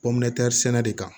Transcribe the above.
sɛnɛ de kan